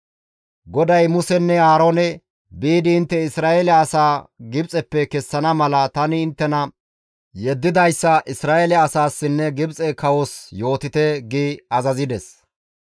GODAY Musenne Aaroone, «Biidi intte Isra7eele asaa Gibxeppe kessana mala tani inttena yeddidayssa Isra7eele asaassinne Gibxe kawos yootite» gi azazides.